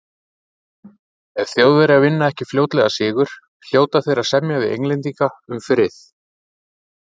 Ef Þjóðverjar vinna ekki fljótlega sigur, hljóta þeir að semja við Englendinga um frið.